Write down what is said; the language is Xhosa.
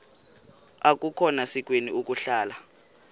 akukhona sikweni ukuhlala